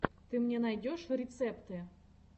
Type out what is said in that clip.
ты мне найдешь рецепты